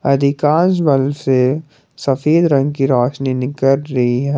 अधिकांश बल्ब से सफेद रंग की रोशनी निकल रही है।